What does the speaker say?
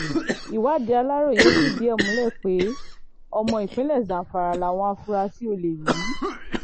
ìwádìí aláròye fìdí ẹ̀ múlẹ̀ pé ọmọ ìpínlẹ̀ zamfara làwọn afurasí olè yìí